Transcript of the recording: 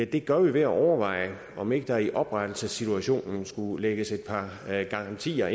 det gør vi ved at overveje om ikke der i oprettelsessituationen skulle lægges et par garantier